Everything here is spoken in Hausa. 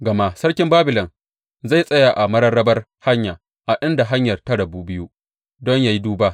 Gama sarkin Babilon zai tsaya a mararrabar hanya, a inda hanyar ta rabu biyu, don yă yi duba.